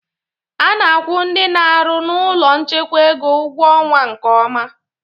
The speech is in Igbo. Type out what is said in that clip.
A na-akwu ndị n'arụ n'ụlọ nchekwa ego ụgwọ ọnwa nke ọma.